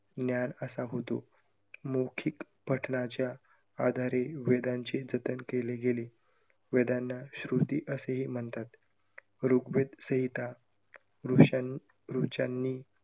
ज्ञान असा होतो. मौखिक पठणाच्या आधारे वेदांचे जतन केले गेले. वेदांना श्रुती असेही म्हणतात. ऋग्वेद संहिता ऋषा~ ऋचांनी